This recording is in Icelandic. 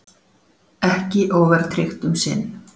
Ekki óverðtryggt um sinn